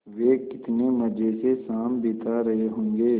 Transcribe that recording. वे कितने मज़े से शाम बिता रहे होंगे